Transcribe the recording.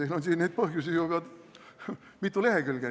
Teil on siin neid põhjusi ju juba mitu lehekülge.